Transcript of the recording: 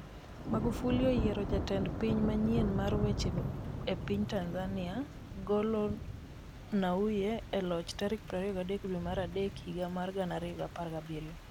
Magufuli oyiero jatend piny manyien mar weche weche e piny Tanzania, golo Nnauye e loch tarik 23 dwe mar adek higa mar 2017